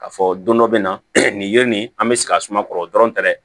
K'a fɔ don dɔ bɛ na nin ye nin an bɛ sigi a suma kɔrɔ dɔrɔn tɛ dɛ